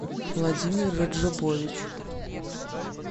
владимир раджабович